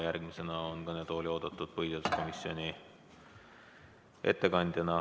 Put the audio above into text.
Järgmisena on kõnetooli oodatud Lauri Läänemets põhiseaduskomisjoni ettekandjana.